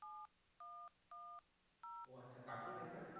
ও আচ্ছা কার্টুন দেখেন এখন?